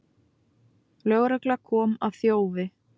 Lögregla kom að þjófi